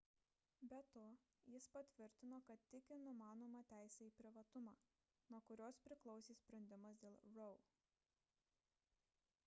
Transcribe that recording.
be to jis patvirtino kad tiki numanoma teise į privatumą nuo kurios priklausė sprendimas dėl roe